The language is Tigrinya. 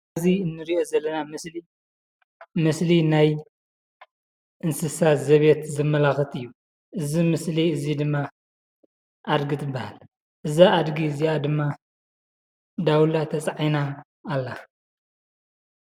እዙይ እንርእዮ ዘለና ምስሊ ናይ እንስሳ ዘቤት ዘመላክት እዩ። እዙይ ምስሊ እዙይ ድማ ኣዲጊ ትብሃለ እዛ ኣዲጊ እዝይኣ ድማ ዳውላ ተፃዒና ኣላ።